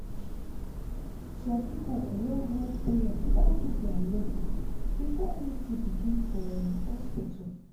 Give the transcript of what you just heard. some people go wan run prayer or do their level before anything begin for um hospital.